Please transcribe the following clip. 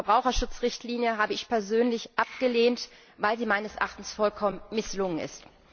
Die Verbraucherschutzrichtlinie habe ich persönlich abgelehnt, weil sie meines Erachtens vollkommen misslungen ist.